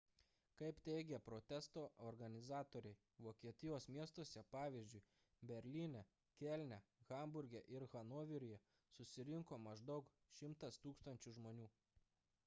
kaip teigė protesto organizatoriai vokietijos miestuose pavyzdžiui berlyne kelne hamburge ir hanoveryje susirinko maždaug 100 000 žmonių